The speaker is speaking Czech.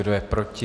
Kdo je proti?